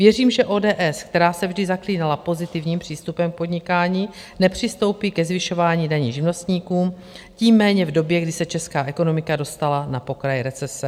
Věřím, že ODS, která se vždy zaklínala pozitivním přístupem k podnikání, nepřistoupí ke zvyšování daní živnostníkům, tím méně v době, kdy se česká ekonomika dostala na pokraj recese.